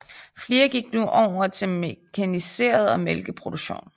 Flere gik nu over til mekaniseret mælkeproduktion